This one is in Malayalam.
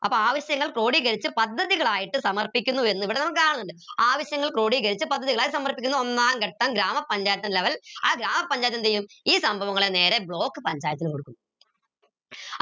അപ്പോ ആവശ്യങ്ങൾ ക്രോഡീകരിച്ച് പദ്ധതികൾ ആയിട്ട് സമർപ്പിക്കുന്നു എന്ന് ഇവിടെ നമുക്ക് കാണുന്നിണ്ട് ആവശ്യങ്ങൾ ക്രോഡീകരിച്ച് പദ്ധതികൾ ആയി സമർപ്പിക്കുന്നു ഒന്നാം ഘട്ട ഗ്രാമപഞ്ചായത്ത് level ആ ഗ്രാമപഞ്ചായത്ത് എന്തെയും ഈ സംഭവങ്ങളെ നേരെ block panchayath ന് കൊടുക്കും